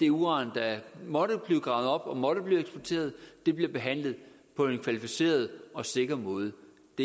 uran der måtte blive gravet op og måtte blive eksporteret bliver behandlet på en kvalificeret og sikker måde